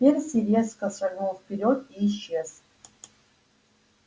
перси резко шагнул вперёд и исчез